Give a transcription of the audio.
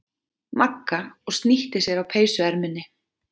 Magga og snýtti sér á peysuerminni.